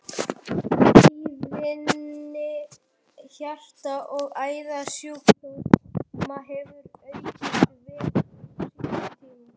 Tíðni hjarta- og æðasjúkdóma hefur aukist verulega á síðari tímum.